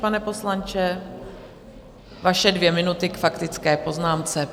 Pane poslanče, vaše dvě minuty k faktické poznámce.